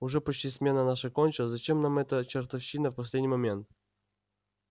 уже почти смена наша кончилась зачем нам эта чертовщина в последний момент